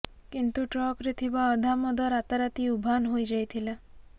କିନ୍ତୁ ଟ୍ରକରେ ଥିବା ଅଧା ମଦ ରାତାରାତି ଉଭାନ ହୋଇଯାଇଥିଲା